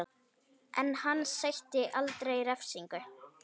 En hann sætti aldrei refsingu